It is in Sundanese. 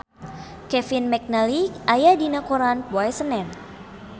Kevin McNally aya dina koran poe Senen